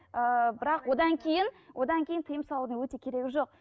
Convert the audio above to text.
ыыы бірақ одан кейін одан кейін тыйым салудың өте керегі жоқ